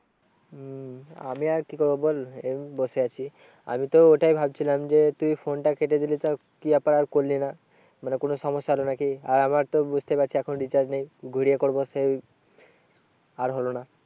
হম আমি আর কি করবো বল এই বসে আছি। আমি তো ওটাই ভাবছিলাম যে তুই phone টা কেটে দিলি কি ব্যাপার আর করলি না? মানে কোনো সমস্যা হলো না কি? আর আমার তো বুঝতেই পারছিস এখন recharge নেই ঘুরিয়ে করবো সেই আর হলো না।